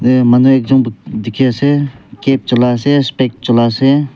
eh manu ekjun dikhi ase cap chulia ase speck chulia ase.